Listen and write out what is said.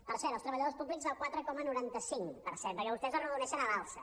per cert els treballadors públics el quatre coma noranta cinc per cent perquè vostès arrodoneixen a l’alça